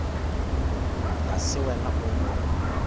ga se wena o mo